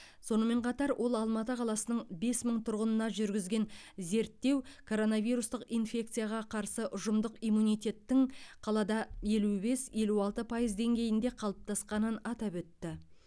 сонымен қатар ол алматы қаласының бес мың тұрғынына жүргізген зерттеу коронавирустық инфекцияға қарсы ұжымдық иммунитеттің қалада елу бес елу алты пайыз деңгейінде қалыптасқанын атап өтті